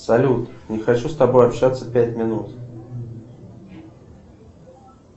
салют не хочу с тобой общаться пять минут